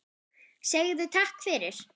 Segðu takk fyrir.